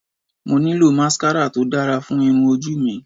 Mo nílò máskárà to dára fún irun ojú mi